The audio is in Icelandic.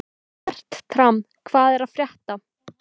Fertram, hvað er að frétta?